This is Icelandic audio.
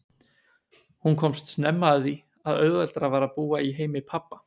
Hún komst snemma að því að auðveldara var að búa í heimi pabba.